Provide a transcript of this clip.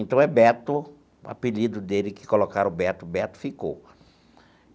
Então é Beto, apelido dele, que colocaram Beto, Beto ficou.